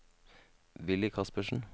Willy Kaspersen